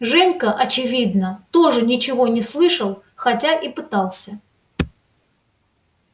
женька очевидно тоже ничего не слышал хотя и пытался